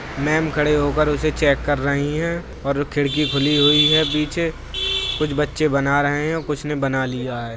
'' Ma'am खड़े होकर उसे चेक कर रही हैं और खिड़की खुली हुई है पीछे कुछ बच्चे बना रहे हैं कुछ ने बना लिया है। ''